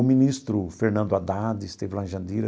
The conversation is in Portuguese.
O ministro Fernando Haddad esteve lá em Jandira.